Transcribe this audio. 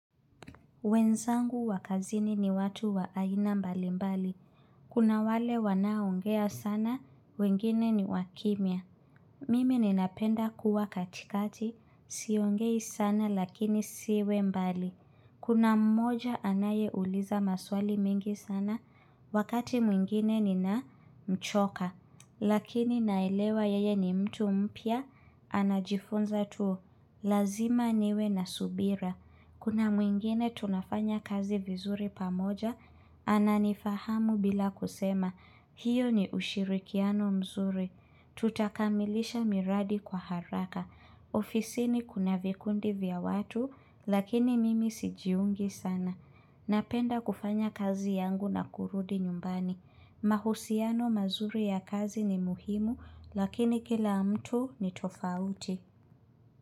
Wenzangu wa kazini ni watu wa aina mbalimbali. Kuna wale wanaongea sana, wengine ni wakimia. Mimi ninapenda kuwa katikati, siongei sana lakini siwe mbali. Kuna mmoja anayeuliza maswali mengi sana, wakati mwingine ninamchoka. Lakini naelewa yeye ni mtu mpya, anajifunza tu. Lazima niwe na subira. Kuna mwingine tunafanya kazi vizuri pamoja, ananifahamu bila kusema, hiyo ni ushirikiano mzuri. Tutakamilisha miradi kwa haraka. Ofisini kuna vikundi vya watu, lakini mimi sijiungi sana. Napenda kufanya kazi yangu na kurudi nyumbani. Mahusiano mazuri ya kazi ni muhimu, lakini kila mtu ni tofauti.